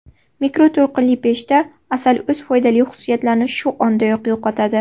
Mikroto‘lqinli pechda asal o‘z foydali xususiyatlarni shu ondayoq yo‘qotadi.